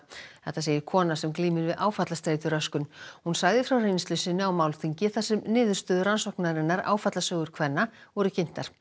þetta segir kona sem glímir við áfallastreituröskun hún sagði frá reynslu sinni á málþingi þar sem niðurstöður rannsóknarinnar kvenna voru kynntar